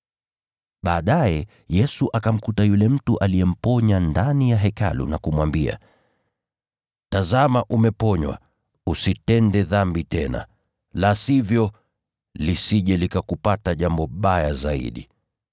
Baadaye Yesu akamkuta yule mtu aliyemponya ndani ya Hekalu na kumwambia, “Tazama umeponywa, usitende dhambi tena. La sivyo, lisije likakupata jambo baya zaidi.”